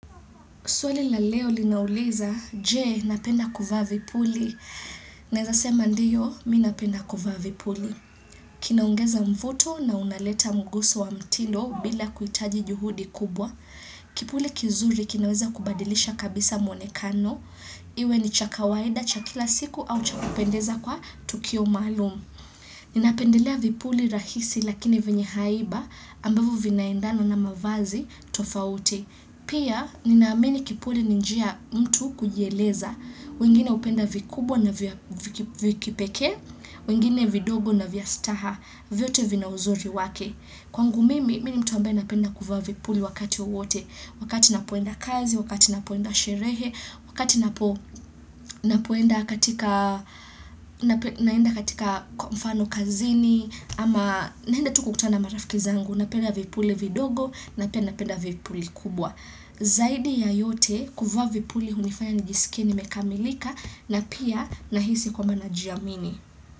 Swali la leo linauliza, je, napenda kuvaa vipuli. Naeza sema ndio, mimi napenda kuvaa vipuli. Kinaongeza mvuto na unaleta mguso wa mtindo bila kuhitaji juhudi kubwa. Kipuli kizuri kinaweza kubadilisha kabisa mwonekano. Iwe ni cha kawaida cha kila siku au cha kupendeza kwa tukio maalumu. Ninapendelea vipuli rahisi lakini vyenye haiba ambavyo vinaendana na mavazi tofauti. Pia, ninaamini kipuli ni njia ya mtu kujieleza, wengine hupenda vikubwa na vya kipekee, wengine vindogo na vya staha, vyote vina uzuri wake. Kwangu mimi, mini mtu ambaye napenda kuvaa vipuli wakati wowote, wakati napoenda kazi, wakati napoenda sherehe, wakati napoenda katika kwa mfano kazini, ama naenda tu kukutana marafiki zangu, napenda vipule vidogo, na pia napenda vipuli kubwa. Zaidi ya yote kuvaa vipuli hunifanya nijisikie nimekamilika na pia nahisi kwamba na jiamini.